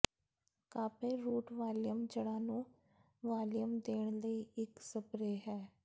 ਕਾਪੈਅ root volume ਜੜ੍ਹਾਂ ਨੂੰ volume ਦੇਣ ਲਈ ਇੱਕ ਸਪਰੇਅ ਹੈ